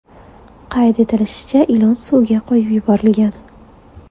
Qayd etilishicha, ilon suvga qo‘yib yuborilgan.